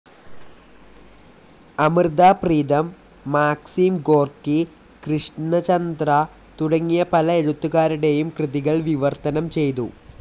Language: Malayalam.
അമൃതാ പ്രീതം, മാക്സിം ഗോർക്കി, കൃഷ്ണചന്ദ്രാ, തുടങ്ങിയ പല എഴുത്തുകാരുടെയും കൃതികൾ വിവർത്തനം ചെയ്തു.